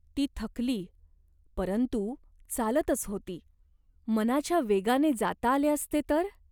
ती थकली, परंतु चालतच होती. मनाच्या वेगाने जाता आले असते तर ?